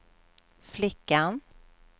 flickan